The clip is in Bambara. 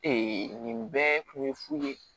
nin bɛɛ kun ye fu ye